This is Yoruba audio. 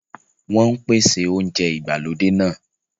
Wọn ń pèsè oúnjẹ ìgbàlódé náà